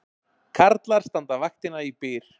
Karlar standa vaktina í Byr